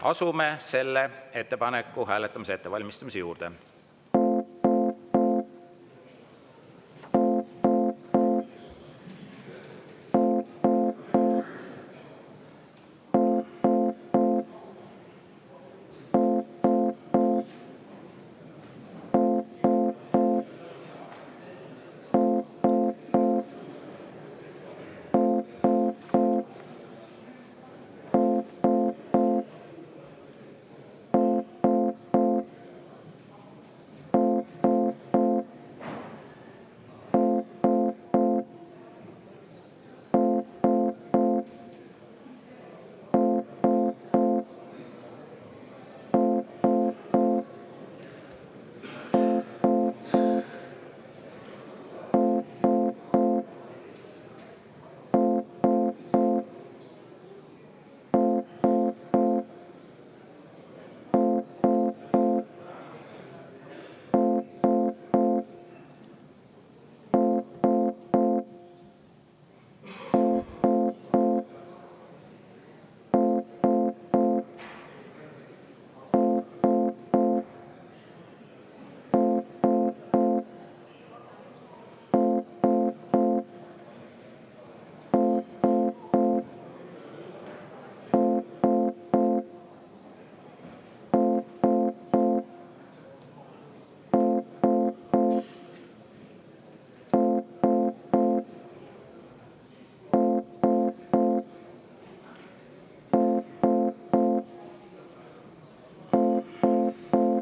Asume selle ettepaneku hääletamise ettevalmistamise juurde.